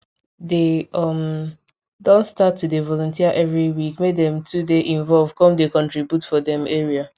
dey um don start to dey volunteer every week make dem too dey involve come dey contribute for dem area